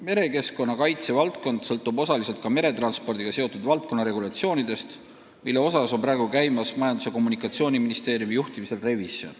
Merekeskkonna kaitse valdkond sõltub osaliselt ka meretranspordiga seotud valdkonna regulatsioonidest, mille revisjoni praegu Majandus- ja Kommunikatsiooniministeeriumi juhtimisel tehakse.